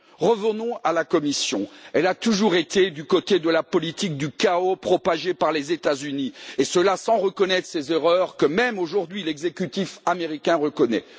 Revenons à la Commission, elle a toujours été du côté de la politique du chaos propagée par les États Unis, et cela sans reconnaître ses erreurs que, même aujourd'hui, l'exécutif américain reconnaît.